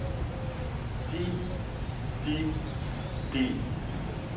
de de de